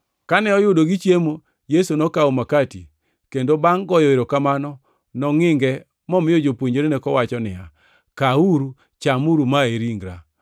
Kane oyudo gichiemo, Yesu nokawo makati kendo bangʼ goyo erokamano, nongʼinge momiyo jopuonjrene, kowacho niya, “Kawuru, chamuru; ma en ringra.”